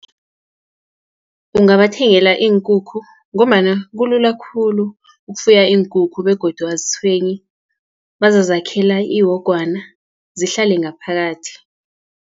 Ungabathengela iinkukhu, ngombana kulula khulu ukufuya iinkukhu, begodu azitshwenyi. Bazazakhela iwogwana zihlale ngaphakathi.